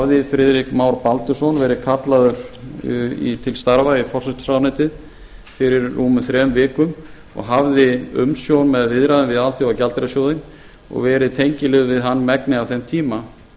hafði friðrik már baldursson verið kallaður til starfa í forsætisráðuneytið fyrir rúmum þrem vikum og hafði umsjón með viðræðum við alþjóðagjaldeyrissjóðinn og verið tengiliður við hann megnið af þeim tíma